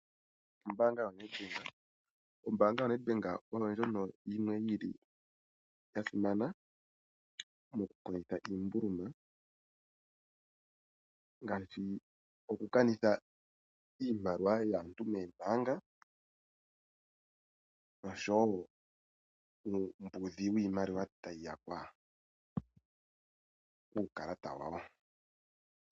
Ombaanga yoNedbank, ombaanga yoNedbank oyo ndjono yimwe yi li ya simana mokukondjitha iimbuluma, ngaashi okukanitha iimaliwa yaantu moombaanga nosho wo uumbudhi wiimaliwa tayi yakwa kuukalata wawo.